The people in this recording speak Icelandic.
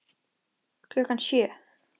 Klukkan sjö.